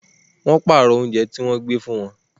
Wọ́n pààrọ̀ oúnjẹ tí gbe fún wọn